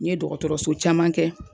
N ye dɔgɔtɔrɔso caman kɛ